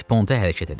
sponta hərəkət elə.